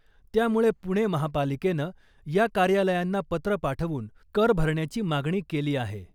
त्यामुळे पुणे महापालिकेनं या कार्यालयांना पत्र पाठवून कर भरण्याची मागणी केली आहे .